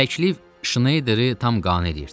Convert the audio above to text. Təklif Şneyderi tam qane eləyirdi.